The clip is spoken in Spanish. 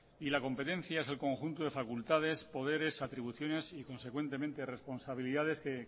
y la competencia es el conjunto de facultades poderes atribuciones y consecuentemente responsabilidades que